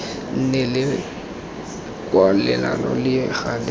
nne le kwalelano le gale